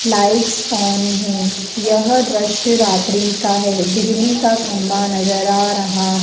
lights on है यह दृश्य रात्रि का है बिजली का खंभा नजर आ रहा --